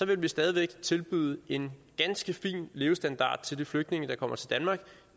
ville vi stadig væk tilbyde en ganske fin levestandard til de flygtninge der kommer til danmark